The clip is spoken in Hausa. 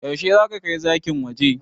Yaushe zaka kai zakin waje?